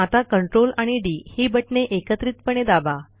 आता ctrl आणि D ही बटणे एकत्रितपणे दाबा